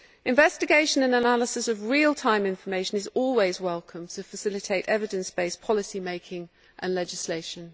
Investigation and analysis of real time information is always welcome to facilitate evidence based policy making and legislation.